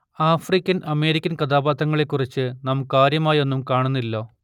African American കഥാപാത്രങ്ങളെക്കുറിച്ച് നാം കാര്യമായൊന്നും കാണുന്നില്ല